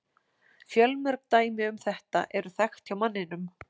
Fjölmörg dæmi um þetta eru þekkt hjá manninum.